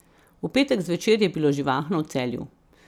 V petek zvečer je bilo živahno v Celju.